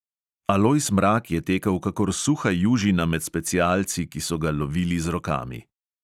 Alojz mrak je tekel kakor suha južina med specialci, ki so ga lovili z rokami.